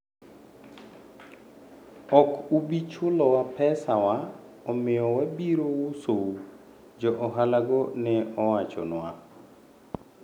"Ok ubi chulowa pesa wa, omiyo wabiro usou," jo ohalago ne owachonwa.